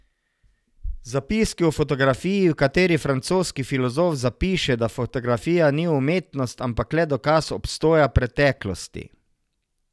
Zapiski o fotografiji, v kateri francoski filozof zapiše, da fotografija ni umetnost, ampak le dokaz obstoja preteklosti.